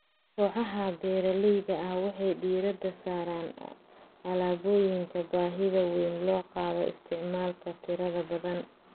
Kooxaha beeralayda ah waxay diiradda saaraan alaabooyinka baahida weyn loo qabo isticmaalka tirada badan.